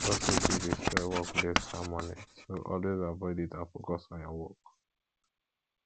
gossip fit destroy workplace harmony so always avoid it and focus on work